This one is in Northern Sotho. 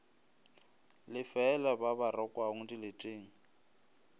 lefeela ba ba rakwang dileteng